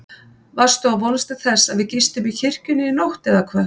Varstu að vonast til þess að við gistum í kirkjunni í nótt eða hvað?